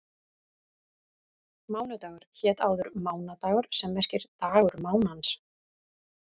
Mánudagur hét áður mánadagur sem merkir dagur mánans.